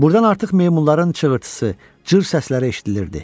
Buradan artıq meymunların çığırtısı, cır səsləri eşidilirdi.